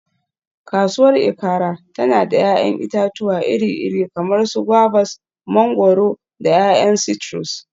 Kasuwar Ikaare tana da 'ya'yan itatuwa iri-iri kamar su guavas, mangwaro, da 'ya'yan citrus.